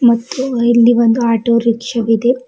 ಮತ್ತು ಇಲ್ಲಿ ಒಂದು ಆಟೋ ರಿಕ್ಷಾವಿದೆ.